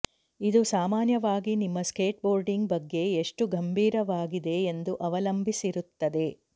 ಇದು ಸಾಮಾನ್ಯವಾಗಿ ನಿಮ್ಮ ಸ್ಕೇಟ್ಬೋರ್ಡಿಂಗ್ ಬಗ್ಗೆ ಎಷ್ಟು ಗಂಭೀರವಾಗಿದೆ ಎಂದು ಅವಲಂಬಿಸಿರುತ್ತದೆ